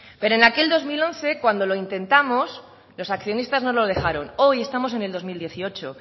pero en aquel dos mil once cuando lo intentamos los accionistas no lo dejaron hoy estamos en el dos mil dieciocho